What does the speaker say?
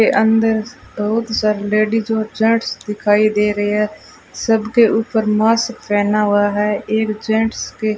के अंदर बहुत सारी लेडीज और जेंट्स दिखाई दे रहे है सबके ऊपर मास्क पहना हुआ है एक जेंट्स के --